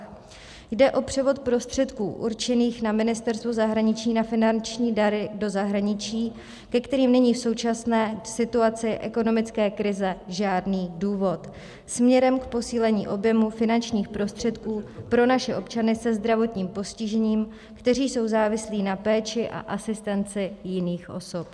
Jde o převod prostředků určených na Ministerstvu zahraničí na finanční dary do zahraničí, ke kterým není v současné situaci ekonomické krize žádný důvod, směrem k posílení objemu finančních prostředků pro naše občany se zdravotním postižením, kteří jsou závislí na péči a asistenci jiných osob.